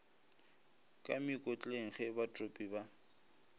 ka mekotleng ge batopi ba